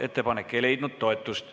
Ettepanek ei leidnud toetust.